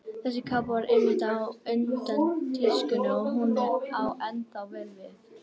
Þessi kápa var einmitt á undan tískunni og hún á ennþá vel við.